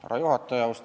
Härra juhataja!